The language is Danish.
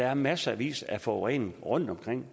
er massevis af forurening rundtomkring